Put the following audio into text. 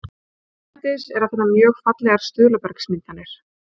erlendis er að finna mjög fallegar stuðlabergsmyndanir